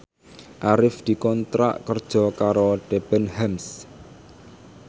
Arif dikontrak kerja karo Debenhams